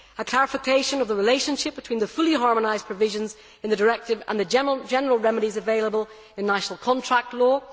a clarification of the relationship between the fully harmonised provisions in the directive and the general remedies available in national contract law